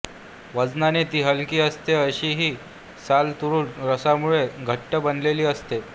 वजनाने ती हलकी असते अशी ही साल तुरट रसामुळे घट्ट बनलेली असते